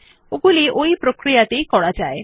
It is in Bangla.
ওগুলি ওই একই প্রক্রিয়ায় করা যায়